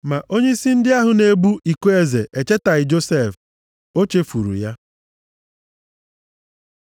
Ma onyeisi ndị ahụ na-ebu iko eze echetaghị Josef. O chefuru ya.